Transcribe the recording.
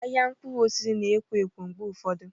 Ahịa mkpụrụ osisi na-ekwo ekwo mgbe ụfọdụ.